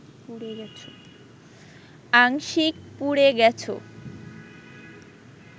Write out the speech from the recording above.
আংশিকপুড়ে গেছ